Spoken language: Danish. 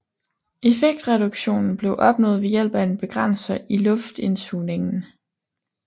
Effektreduktionen blev opnået ved hjælp af en begrænser i luftindsugningen